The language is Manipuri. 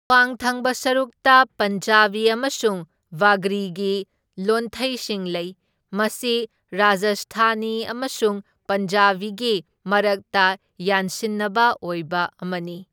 ꯑꯋꯥꯡ ꯊꯪꯕ ꯁꯔꯨꯛꯇ ꯄꯟꯖꯥꯕꯤ ꯑꯃꯁꯨꯡ ꯕꯥꯒ꯭ꯔꯤꯒꯤ ꯂꯣꯟꯊꯩꯁꯤꯡ ꯂꯩ, ꯃꯁꯤ ꯔꯥꯖꯁꯊꯥꯅꯤ ꯑꯃꯁꯨꯡ ꯄꯟꯖꯥꯕꯤꯒꯤ ꯃꯔꯛꯇ ꯌꯥꯟꯁꯤꯟꯅꯕ ꯑꯣꯏꯕ ꯑꯃꯅꯤ꯫